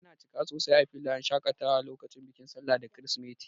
Ana cika sosai a filayen shakatawa lokacin bikin sallah da kirisimeti.